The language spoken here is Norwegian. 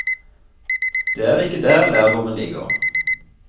Det er ikke der lærdommen ligger.